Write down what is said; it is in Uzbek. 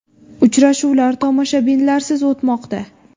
Uchrashuvlar tomoshabinlarsiz o‘tmoqda.